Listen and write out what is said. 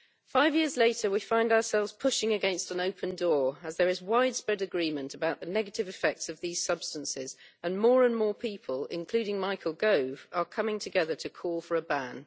Five years later, we find ourselves pushing against an open door, as there is widespread agreement about the negative effects of these substances and more and more people, including Michael Gove, are coming together to call for a ban.